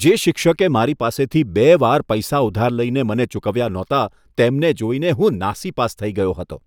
જે શિક્ષકે મારી પાસેથી બે વાર પૈસા ઉધાર લઈને મને ચૂકવ્યા નહોતા તેમને જોઈને હું નાસીપાસ થઈ ગયો હતો.